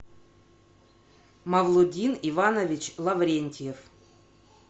мавлудин иванович лаврентьев